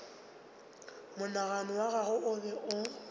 monagano wa gagwe o be